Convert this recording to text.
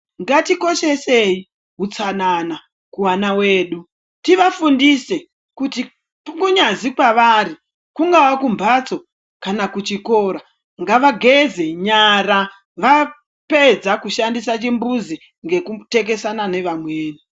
Ngatikoshesei hutsanana kuvana wedu tivafundise kuti kunyazi kwavari kungava kumbatso kana kuchikora ngavageze nyara vapedza kushandisa chimbuzi ngekutekesana nevamweni.